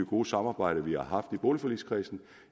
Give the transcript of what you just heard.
gode samarbejde vi har haft i boligforligskredsen